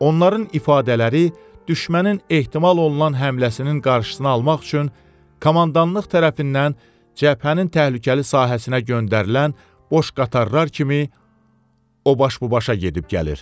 Onların ifadələri düşmənin ehtimal olunan həmləsinin qarşısını almaq üçün komandanlıq tərəfindən cəbhənin təhlükəli sahəsinə göndərilən boş qatarlar kimi o baş bu başa gedib-gəlir.